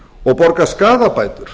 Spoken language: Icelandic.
og borga skaðabætur